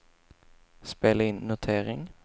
spela in notering